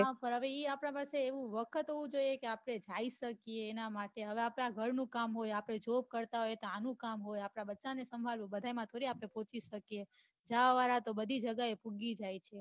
એ હવે આપડા પાસે work હોવું જોઈએ કે આપડે જઈ શકીએ ઘર નું કામ હોય આપડે job કરતા હોય ત્યાં નું કામ હોય આપદા બચ્ચા ને સાંભાળવો ભઘા માં થોડી આપડે પોહચી શકીએ જવા વાળા તો બઘી જગ્યા એ પોહચી જાય છે